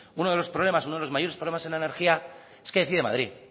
uno de los problemas uno de los mayores problemas en la energía es que decide madrid